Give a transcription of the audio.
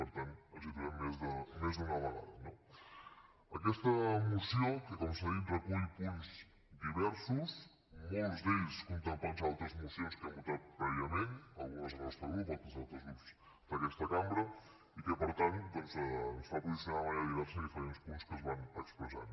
per tant ens hi trobem més d’una vegada no aquesta moció que com s’ha dit recull punts diversos molts d’ells contemplats en d’altres mocions que hem votat prèviament algunes del nostre grup altres d’altres grups d’aquesta cambra i que per tant doncs ens fa posicionar d’una manera diversa a diferents punts que es van expressant